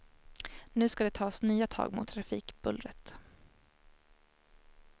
Nu ska det tas nya tag mot trafikbullret.